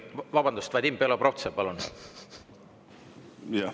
Vabandust, Vadim Belobrovtsev, palun!